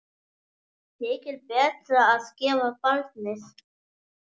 Þykir betra að gefa barnið.